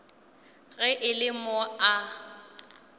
ge e le mo a